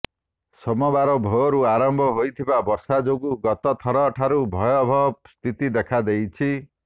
ସୋମବାର ଭୋରରୁ ଆରମ୍ଭ ହୋଇଥିବା ବର୍ଷା ଯୋଗୁଁ ଗତଥରଠାରୁ ଭୟାବହ ସ୍ଥିତି ଦେଖାଦେଇଛି